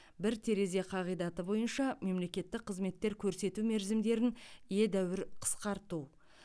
бір терезе қағидаты бойынша мемлекеттік қызметтер көрсету мерзімдерін едәуір қысқарту